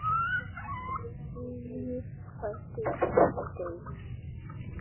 Líf fæðist, líf deyr.